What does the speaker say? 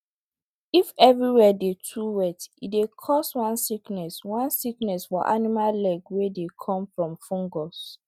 if everywhere dey too wet e dey cause one sickness one sickness for animal leg wey dey come from fungus